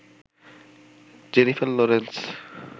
Jennifer Lawrence